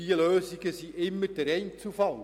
Diese Lösungen betreffen immer den Einzelfall.